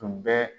Tun bɛ